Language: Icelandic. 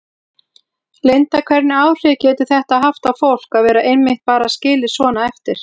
Linda: Hvernig áhrif getur þetta haft á fólk að vera einmitt bara skilið svona eftir?